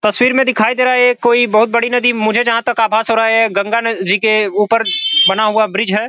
तस्वीर में दिखाई दे रहा है। ये कोई बहुत बड़ी नदी मुझे जहा तक आभास हो रहा है। गंगा न जी के ऊपर बना हुआ ब्रिज है।